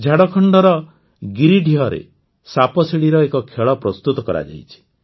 ଝାଡ଼ଖଣ୍ଡର ଗିରିଡିହରେ ସାପସିଡ଼ିର ଏକ ଖେଳ ପ୍ରସ୍ତୁତ କରାଯାଇଛି